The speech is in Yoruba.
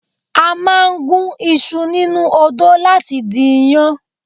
A máa ń gún iṣu nínú odó láti di iyán